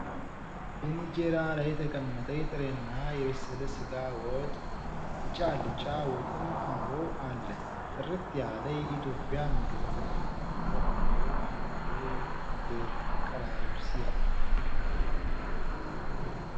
ኢንጀራ ላይ የተቀመጠ የጥሬና የበሰለ ስጋ ወጥ፤ ቢጫ አልጫ ወጥም አብሮ አለ ። ጥርት ያለ የኢትዮጵያ ምግብ ! "ዋው! የባሕላዊው ምግብ አቀራረብ ሲያምር!"